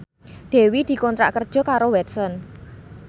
Dewi dikontrak kerja karo Watson